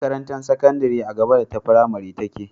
Makarantar sakandari a gaba da fimari take